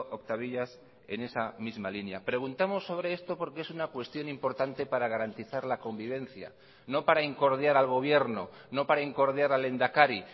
octavillas en esa misma línea preguntamos sobre esto porque es una cuestión importante para garantizar la convivencia no para incordiar al gobierno no para incordiar al lehendakari